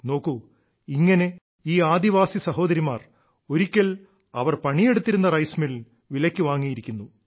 നോക്കൂ ഇങ്ങനെ ഈ ആദിവാസി സഹോദരിമാർ ഒരിക്കൽ അവർ പണിയെടുത്തിരുന്ന റൈസ് മിൽ വിലയ്ക്കു വാങ്ങിയിരിക്കുന്നു